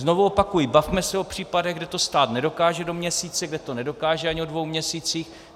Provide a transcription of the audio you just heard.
Znovu opakuji, bavme se o případech, kde to stát nedokáže do měsíce, kde to nedokáže ani o dvou měsících.